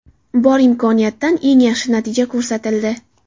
Bor imkoniyatdan eng yaxshi natija ko‘rsatildi.